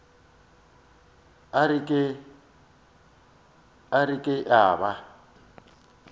a re ke a ba